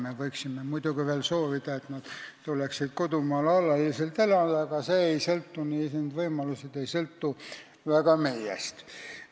Me võiksime muidugi veel soovida, et nad tuleksid alaliselt kodumaale elama, aga need võimalused ei sõltu väga meist.